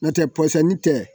N'o tɛ pɔsɔni tɛ